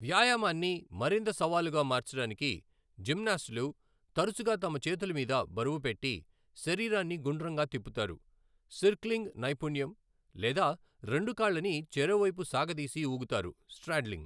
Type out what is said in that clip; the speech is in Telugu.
వ్యాయామాన్ని మరింత సవాలుగా మార్చడానికి, జిమ్నాస్టులు తరచుగా తమ చేతుల మీద బరువు పెట్టి, శరీరాన్ని గుండ్రంగా తిప్పుతారు, సిర్క్లింగ్ నైపుణ్యం, లేదా రెండు కాళ్ళని చెరోవైపు సాగదీసి ఊగుతారు, స్ట్రాడ్లింగ్ .